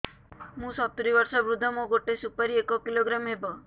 ମୁଁ ସତୂରୀ ବର୍ଷ ବୃଦ୍ଧ ମୋ ଗୋଟେ ସୁପାରି ଏକ କିଲୋଗ୍ରାମ ହେବ